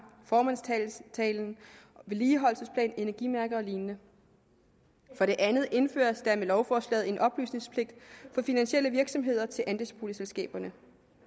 formandstalen vedligeholdelsesplan energimærke og lignende for det andet indføres der med lovforslaget en oplysningspligt for finansielle virksomheder til andelsboligselskaberne